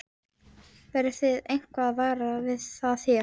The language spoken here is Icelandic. Verðið þið eitthvað varar við það hér?